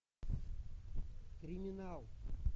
криминал